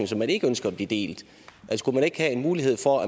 som man ikke ønsker bliver delt skulle man ikke have en mulighed for